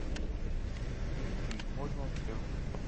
включи можно все